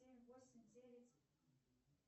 семь восемь девять